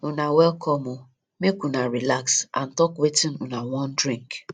una welcome o make una relax and talk wetin una wan drink